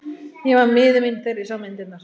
Ég var miður mín þegar ég sá myndirnar.